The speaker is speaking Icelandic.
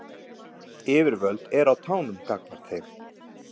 Yfirvöld eru á tánum gagnvart þeim